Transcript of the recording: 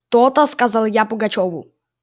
то-то сказал я пугачёву